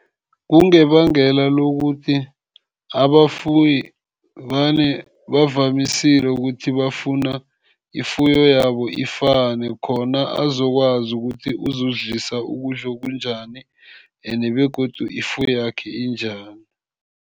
Kungabangela lokuthi abafuyi vane bavamisile ukuthi bafuna ifuyo yabo ifane, khona azokwazi ukuthi uzozidlisa ukudla okunjani, and begodu ifuywakhe injani.